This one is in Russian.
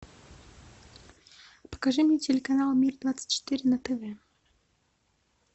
покажи мне телеканал мир двадцать четыре на тв